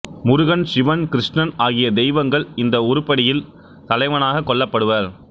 முருகன் சிவன் கிருஷ்ணன் ஆகிய தெய்வங்கள் இந்த உருப்படியில் தலைவனாகக் கொள்ளப்படுவர்